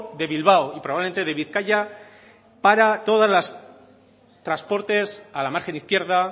de bilbao y probablemente de bizkaia para todos los transportes a la margen izquierda